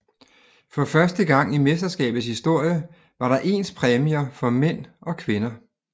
For første gang i mesterskabets historie var der ens præmier for mænd og kvinder